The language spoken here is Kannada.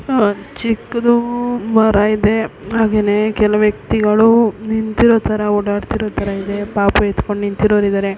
ಆ ಚಿಕ್ಕುದು ಮರ ಇದೆ ಹಾಗೇನೆ ಕೆಲ ವ್ಯಕ್ತಿಗಳು ನಿಂತಿರೋ ತರ ಓಡಾಡುತ್ತಿರೋ ತರ ಇದೆ ಪಾಪು ಎತ್ಕೊಂಡು ನಿಂತಿರೋರು ಇದ್ದಾರೆ.